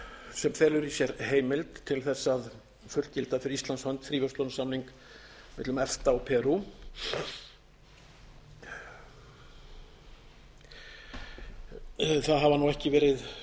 sem felur í sér heimild til þess að fullgilda fyrir íslands hann fríverslunarsamning millum efta og perú það hafa nú ekki verið